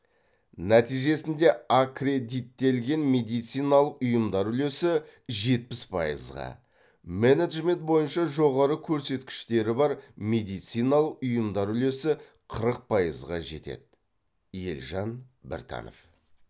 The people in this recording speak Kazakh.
нәтижесінде аккредиттелген медициналық ұйымдар үлесі жетпіс пайызға менеджмент бойынша жоғары көрсеткіштері бар медициналық ұйымдар үлесі қырық пайызға жетеді елжан біртанов